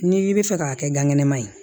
N'i bɛ fɛ k'a kɛ gan kɛnɛma ye